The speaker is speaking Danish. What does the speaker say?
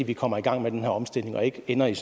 vi kommer i gang med den her omstilling og ikke ender i